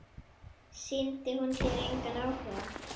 Sýndi hún þér engan áhuga?